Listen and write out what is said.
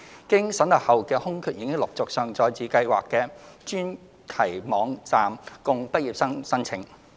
經審核後的空缺已陸續上載至計劃的專題網站供畢業生申請。